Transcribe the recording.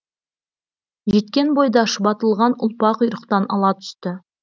жеткен бойда шұбатылған ұлпа құйрықтан ала түсті